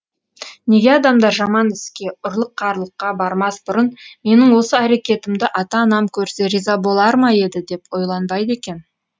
неге адамдар жаман іске ұрлық қарлыққа бармас бұрын менің осы әрекетімді ата анам көрсе риза болар ма еді деп ойланбайды екен